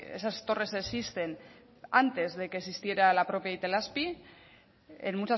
esas torres existen antes de que existiera la propia itelazpi en